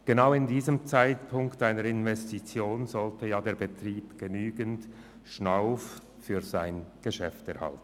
Genau zu diesem Zeitpunkt einer Investition sollte der Betrieb genügend Schnauf für sein Geschäft erhalten.